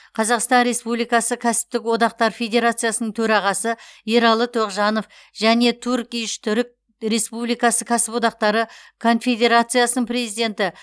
қазақстан республикасы кәсіптік одақтар федерациясының төрағасы ералы тоғжанов және турк иш түрік республикасы кәсіподақтары конфедерациясының президенті